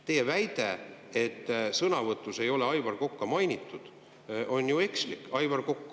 Teie väide, et sõnavõtus ei ole Aivar Kokka mainitud, on ju ekslik.